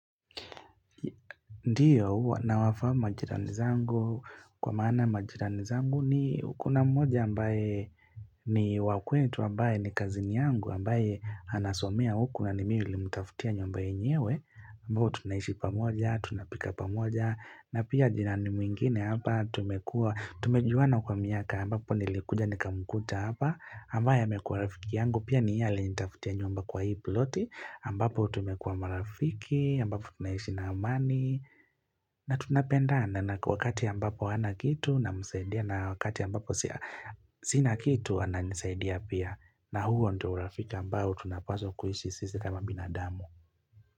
Ndiyo, nawafahamu majirani zangu, kwa maana majirani zangu ni kuna mmoja ambaye ni wa kwetu ambaye ni cousin yangu ambaye anasomea huku nani mimi nilimutafutia nyumba yenyewe, ambayo tunaishi pamoja, tunapika pamoja, na pia jirani mwingine hapa tumekua, tumejuana kwa miaka ambapo nilikuja nikamkuta hapa, ambaye amekua rafiki yangu, pia ni yeye alinitafutia nyumba kwa hii ploti, ambapo tumekua marafiki, ambapo tunahishi na amani, na tunapenda wakati ambapo hana kitu namsaidia na wakati ambapo sina kitu ananisaidia pia na huo ndio urafika ambao tunapaswa kuishi sisi kama binadamu.